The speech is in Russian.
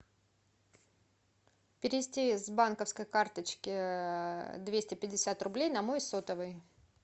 перевести с банковской карточки двести пятьдесят рублей на мой сотовый